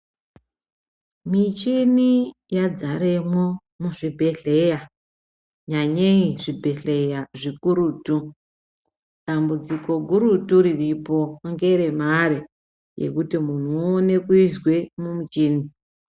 Michini yadzaremwo muzvibhedhlera, nyanyei zvibhedhlera zvikurutu. Dambudziko gurutu riripo ngeremare yekuti muntu uone kuiswe mumuchini.